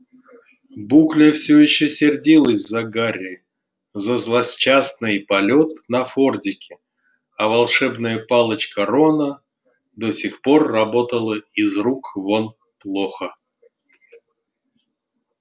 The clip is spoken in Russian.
букля все ещё сердилась за гарри за злосчастный полёт на фордике а волшебная палочка рона до сих пор работала из рук вон плохо